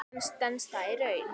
En stenst það í raun?